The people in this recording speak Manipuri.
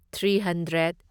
three hundred